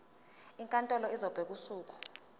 inkantolo izobeka usuku